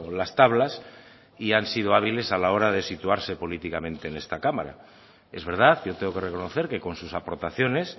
las tablas y han sido hábiles a la hora de situarse políticamente en esta cámara es verdad yo tengo que reconocer que con sus aportaciones